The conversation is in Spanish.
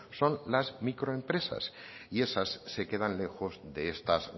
son las microempresas y esas se quedan lejos de estas